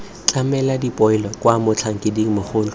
tlamela dipoelo kwa motlhankeding mogolo